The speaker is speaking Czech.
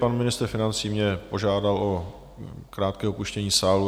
Pan ministr financí mě požádal o krátké opuštění sálu.